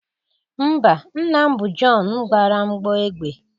Mba, nna m bụ John gbara mgbọ egbe